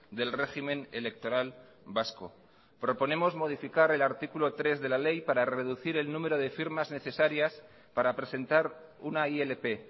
del régimen electoral vasco proponemos modificar el artículo tres de la ley para reducir el número de firmas necesarias para presentar una ilp